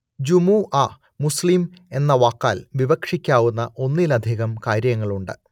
ജുമുഅ മുസ്ലിം എന്ന വാക്കാൽ വിവക്ഷിക്കാവുന്ന ഒന്നിലധികം കാര്യങ്ങളുണ്ട്